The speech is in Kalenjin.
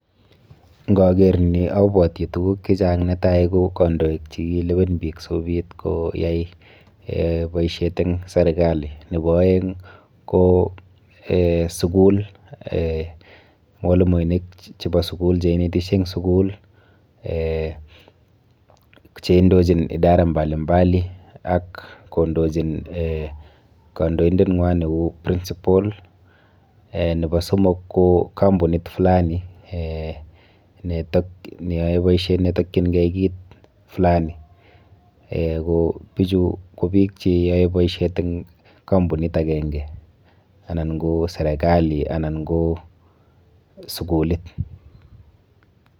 Nkaker ni abwoti tuguk chechang. Netai ko kandoik chekilewen biik sikobit koyai eh boisiet eng serikali. Nepo aeng ko eh sukul eh, mwalimoinik chepo sukul cheinetishe eng sukul eh cheindochin idara mbali mbali ak kondochin eh kandoindenwa neu prinsipal. Eh nepo somok ko kampunit fulani eh ne neyoe boisiet netikchinkei kit fulani eh ko pichu ko biik cheyoe boisiet eng kampunit akenke anan ko serikali anan ko sukulit.